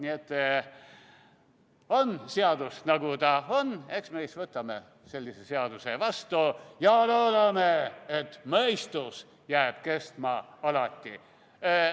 Nii et on seadus, nagu ta on, eks me siis võtame sellise seaduse vastu ja loodame, et mõistus jääb alati kestma.